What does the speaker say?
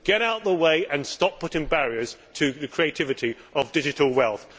Get out of the way and stop putting up barriers to the creativity of digital wealth.